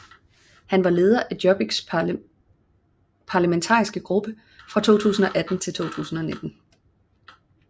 Han var leder af Jobbiks parlamentariske gruppe fra 2018 til 2019